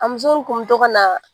A muso nin kun bɛ to ka na